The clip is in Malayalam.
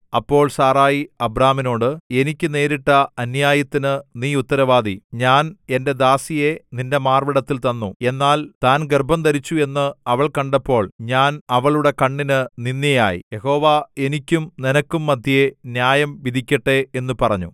അപ്പോൾ സാറായി അബ്രാമിനോട് എനിക്ക് നേരിട്ട അന്യായത്തിന് നീ ഉത്തരവാദി ഞാൻ എന്റെ ദാസിയെ നിന്റെ മാർവ്വിടത്തിൽ തന്നു എന്നാൽ താൻ ഗർഭംധരിച്ചു എന്ന് അവൾ കണ്ടപ്പോൾ ഞാൻ അവളുടെ കണ്ണിന് നിന്ദ്യയായി യഹോവ എനിക്കും നിനക്കും മദ്ധ്യേ ന്യായം വിധിക്കട്ടെ എന്നു പറഞ്ഞു